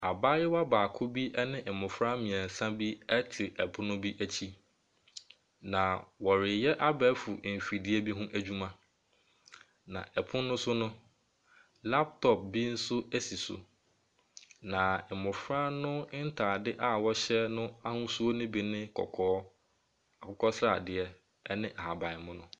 Asuafoɔ nketewa bi ɛregye nkyerɛkyerɛ. Wɔn nkyerɛkyerɛ mu no, wɔresua nnade nketenkete ho adwuma.